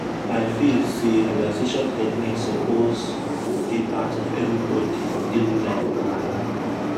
i feel say relaxation techniques suppose dey part of everybody daily life plan.